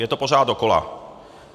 Je to pořád dokola.